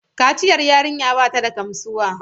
Kaciyar yarinya ba ta da gamsuwa.